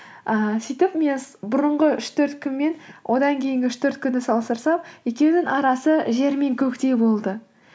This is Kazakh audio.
ыыы сөйтіп мен бұрынғы үш төрт күн мен одан кейінгі үш төрт күнді салыстырсам екеуінің арасы жер мен көктей болды